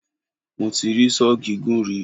Mo ti rí Sọ́ọ̀ gígùn rí.